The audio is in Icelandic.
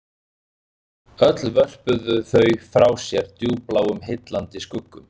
Öll vörpuðu þau frá sér djúpbláum heillandi skuggum